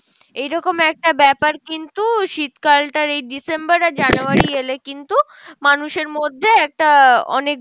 এইরকম একটা ব্যাপার কিন্তু শীতকালটার এই December আর January এলে কিন্তু মানুষের মধ্যে একটা অনেক ভালো